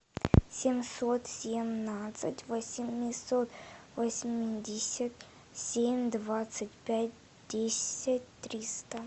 семьсот семнадцать восемьсот восемьдесят семь двадцать пять десять триста